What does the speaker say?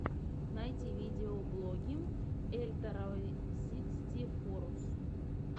найти видеоблоги эльторросикстифоррус